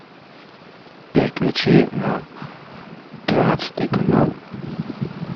переключи на тринадцатый канал